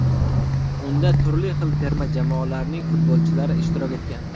Unda turli xil terma jamoalarning futbolchilari ishtirok etgan.